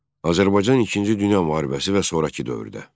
Azərbaycan İkinci Dünya müharibəsi və sonrakı dövrdə.